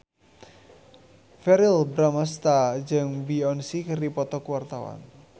Verrell Bramastra jeung Beyonce keur dipoto ku wartawan